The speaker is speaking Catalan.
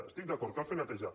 hi estic d’acord cal fer neteja